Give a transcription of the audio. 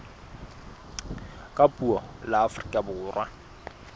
ka puo la afrika borwa